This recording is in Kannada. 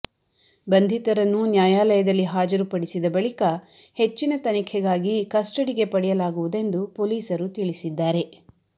ಬಂಧಿತರನ್ನು ನ್ಯಾಯಾಲ ಯದಲ್ಲಿ ಹಾಜರುಪಡಿಸಿದ ಬಳಿಕ ಹೆಚ್ಚಿನ ತನಿಖೆಗಾಗಿ ಕಸ್ಟಡಿಗೆ ಪಡೆಯಲಾಗುವು ದೆಂದು ಪೊಲೀಸರು ತಿಳಿಸಿದ್ದಾರೆ